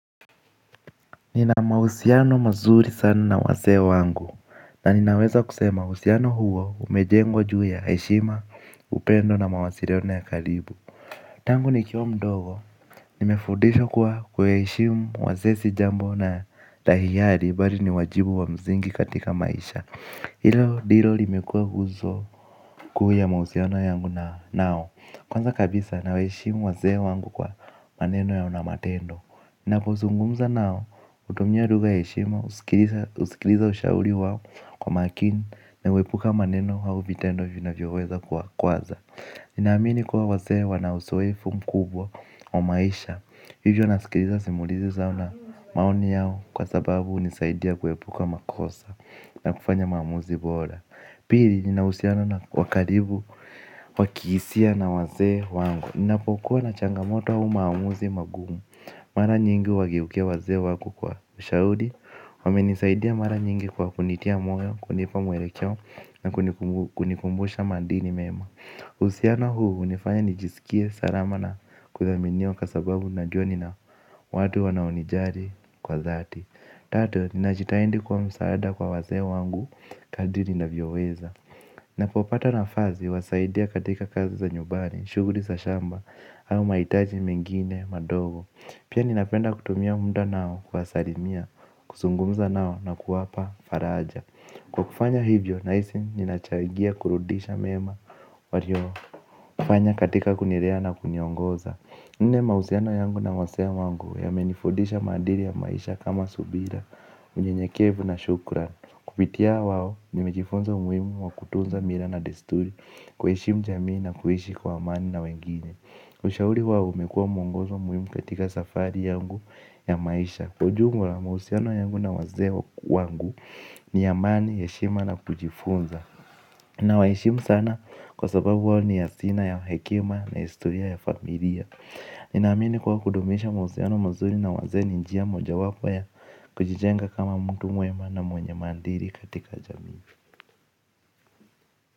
Nina mahusiano mazuri sana na wazee wangu. Na ninaweza kusema uhusiano huo umejengwa juu ya heshima upendo na mawasiliano ya karibu. Tangu nikiwa mdogo nimefudishwa kuwa kuwaheshimu wazee si jambo na la hiari bali ni wajibu wa msingi katika maisha. Hilo ndilo limekua nguzo kuu ya mahusiano yangu na nao. Kwanza kabisa na waheshimu wazee wangu kwa maneno yao na matendo. Ninapo zingumza nao, hutumiya lugha ya heshima, husikiliza ushauri wao kwa makini na uepuka maneno au vitendo vinavyoweza kuwakwaza. Ninamini kuwa wazee wana uzoefu mkubwa wa maisha, hivyo nasikiliza simulizi zao na maoni yao kwa sababu hunisaidia kuepuka makosa na kufanya maamuzi bora. Pili, nina uhusiano na wakaribu, wakihisia na wazee wangu. Ninapokuwa na changamoto au maamuzi magumu mara nyingi huwageukia wazee wangu kwa ushauri. Wamenisaidia mara nyingi kwa kunitia moyo, kunipa mwelekeo na kunikumbusha maadili mema. Uhusiano huu, hunifanya nijisikie salama na kudhaminiwa kwa sababu najuwa nina watu wanaonijali kwa dhati. Tatu, ninajitahidi kuwa msaada kwa wazee wangu, kadiri ninavyoweza. Napopata nafasi, huwasaidia katika kazi za nyumbani, shughuli za shamba, au mahitaji mengine, madogo. Pia ninapenda kutumia muda nao, kuwasalimia, kuzungumza nao na kuwapa faraja. Kwa kufanya hivyo, nahisi, ninachangia kurudisha mema, walio fanya katika kunilea na kuniongoza mahusiano yangu na wazee wangu ya menifundisha maadili ya maisha kama subira, unyenyekevu na shukrani. Kupitia wao ni mejifunza umuhimu wa kutunza mila na desturi kuheshimu jamii na kuishi kwa amani na wengine. Ushauri wao umekuwa mwongozo muhimu katika safari yangu ya maisha. Kwa ujumla mahusiano yangu na wazee wangu ni ya amani, heshima na kujifunza. Na waheshimu sana kwa sababu wao ni hazina ya hekima na historia ya familia. Nina amini kuwa kudumisha mahusiano mzuri na wazee ni njia moja wapo ya kujijenga kama mtu mwema na mwenye maadili katika jamii.